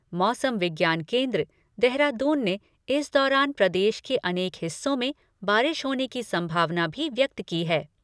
मौसम विज्ञान केंद्र, देहरादून ने इस दौरान प्रदेश के अनेक हिस्सों में बारिश होने की संभावना भी व्यक्त की है।